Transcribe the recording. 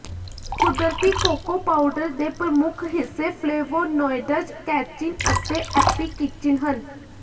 ਕੁਦਰਤੀ cocoa powder ਦੇ ਪ੍ਰਮੁੱਖ ਹਿੱਸੇ ਫਲੇਵੋਨੋਇਡਜ਼ ਕੈਚਿਨ ਅਤੇ ਐਪੀਕਿਚਿਨ ਹਨ